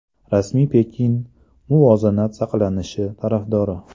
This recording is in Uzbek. Rasmiy Pekin muvozanat saqlanishi tarafdori.